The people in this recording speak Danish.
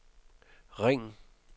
ring